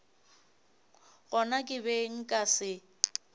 gona ke be nka se